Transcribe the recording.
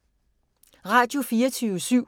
Radio24syv